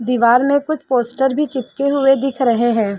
दीवार में कुछ पोस्टर भी चिपके हुवे दिख रहे है।